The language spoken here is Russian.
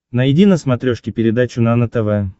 найди на смотрешке передачу нано тв